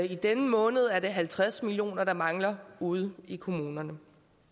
i denne måned er det halvtreds million kr der mangler ude i kommunerne